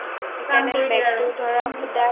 তান কৰি দিয়ে আৰু